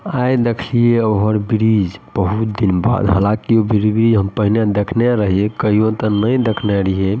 हेय देखियो over bridge बहुत दिन बाद हालाँकि फिर भी हम पहले देखने रहिये कहियो ते नय देखने रहिये।